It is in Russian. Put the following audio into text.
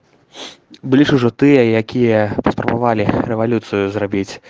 блин уже ты попробовали революцию